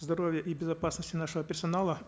здоровья и безопасности нашего персонала